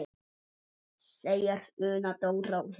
segir Una Dóra og hlær.